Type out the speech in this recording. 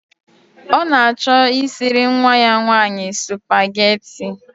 Ọ na-achọ isiri nwa ya nwanyị spugeetí i